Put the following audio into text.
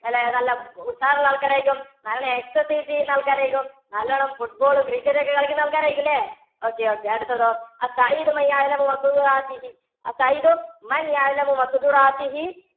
അല്ലേ നല്ല ഉഷാർ ഉള്ള ആൾക്കാർ ആയിരിക്കും. നല്ലവണ്ണം exercise ചെയ്യുന്ന ആൾക്കാർ ആയിരിക്കും. നല്ലവണ്ണം football, cricket ഒക്കെ കളിക്കുന്ന ആൾക്കാർ ആയിരിക്കും അല്ലേ? okay, okay അടുത്തതോ